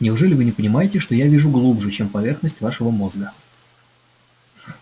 неужели вы не понимаете что я вижу глубже чем поверхность вашего мозга